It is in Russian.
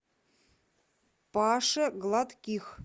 паше гладких